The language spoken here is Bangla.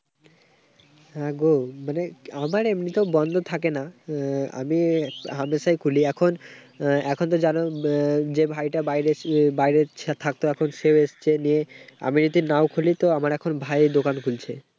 হ্যাঁ, গো। মানে আমার এমনিতেও বন্ধ থাকেনা। আহ আমি হামেশাই খুলি এখন, এখন তো জানো আহ যে ভাইটা বাইরে বাইরে ইচ্ছা থাকতো। এখন সে এসছেও নিয়ে আমি যদি নাও খুলি, তো আমার ভাই এখন দোকান খুলছে।